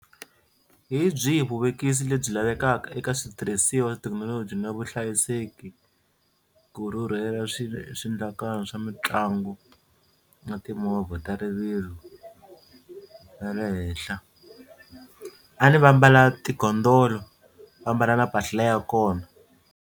Hi byihi vuvekisi lebyi lavekaka eka switirhisiwa, thekinoloji na vuhlayiseki ku rhurhela swi swiendlakalo swa mitlangu na timovha ta rivilo ra le henhla? A ni va mbala tigondolo va mbala na mpahla ya kona.